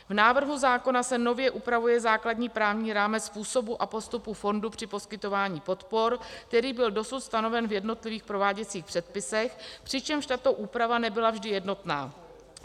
V návrhu zákona se nově upravuje základní právní rámec způsobu a postupu fondu při poskytování podpor, který byl dosud stanoven v jednotlivých prováděcích předpisech, přičemž tato úprava nebyla vždy jednotná.